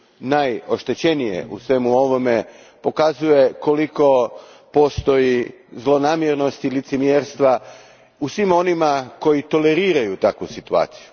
najoštećenije u svemu ovome, pokazuje koliko zlonamjernosti i licemjerstva postoji u svima onima koji toleriraju takvu situaciju.